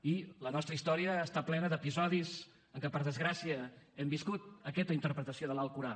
i la nostra història està plena d’episodis en què per desgràcia hem viscut aquesta interpretació de l’alcorà